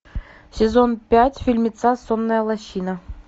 сезон пять фильмеца сонная лощина